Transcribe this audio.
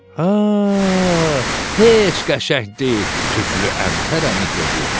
Hə, heç qəşəng deyil, tüklü əntər əmi dedi.